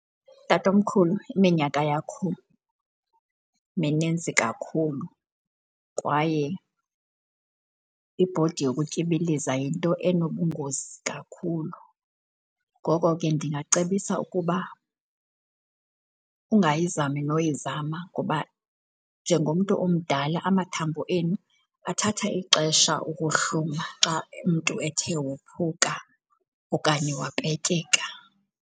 Tatomkhulu, iminyaka yakho mininzi kakhulu kwaye ibhodi yokutyibiliza yinto enobungozi kakhulu. Ngoko ke ndingacebisa ukuba ungayizami noyizama ngoba njengomntu omdala amathambo enu athatha ixesha ukuhluma xa umntu ethe wophuka okanye wapetyeka.